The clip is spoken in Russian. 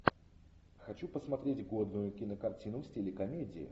хочу посмотреть годную кинокартину в стиле комедии